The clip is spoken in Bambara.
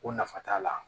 Ko nafa t'a la